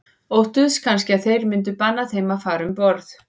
Óttuðust kannski að þeir myndu banna þeim að fara um borð.